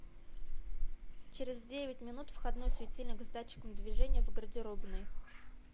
через девять минут входной светильник с датчиком движения в гардеробной